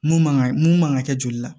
Mun man ka mun man ka kɛ joli la